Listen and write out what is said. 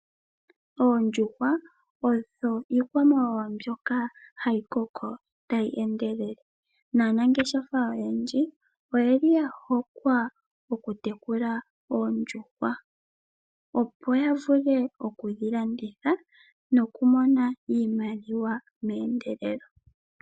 Oondjuhwa odho iikwamawawa mbyoka hayi koko tayi endelele na, aanangeshefa oyendji oyeli ya hokwa oku tekula oondjuhwa opo ya vule okudhi landitha noku mona iimaliwa mendelelo.